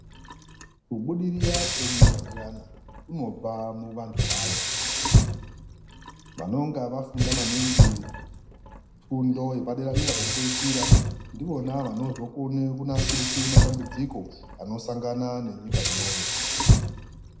Kubudirira kenyika kuyani kunobva muvantu vayo vanonga vafunda maningi fundo yepadera dera pekupeisira ndivona vanozokone kunasirise matambudziko anosangana nenyika iyoyo.